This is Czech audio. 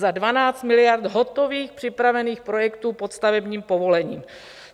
Za 12 miliard hotových připravených projektů pod stavebním povolením.